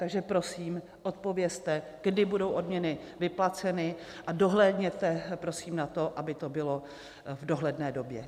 Takže prosím odpovězte, kdy budou odměny vyplaceny, a dohlédněte prosím na to, aby to bylo v dohledné době.